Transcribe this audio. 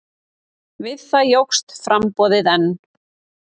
Við það jókst framboðið enn.